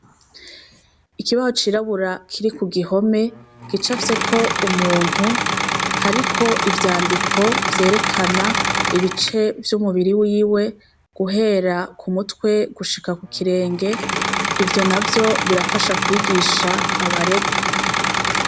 Ikibaho cirabura kiri kugihome gicafyek' umuntu , harik' ivyandiko vyerekan' ibice vy' umubiri wiwe guhera k'umutwe gushika kukirenge, ivyo navyo birafasha kwigisha abaregwa.